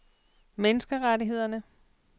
menneskerettighederne